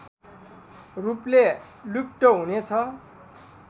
रूपले लुप्त हुनेछ